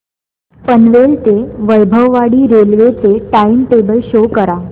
पनवेल ते वैभववाडी रेल्वे चे time table show करा